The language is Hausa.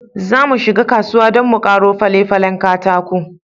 Zamu shiga kasuwa don mu karo fale-falen katako.